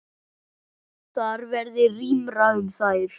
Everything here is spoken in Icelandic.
Þar verði rýmra um þær.